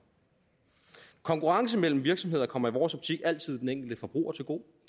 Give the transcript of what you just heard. konkurrence mellem virksomheder kommer i vores optik altid den enkelte forbruger til gode